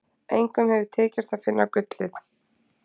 Engum hefur tekist að finna gullið.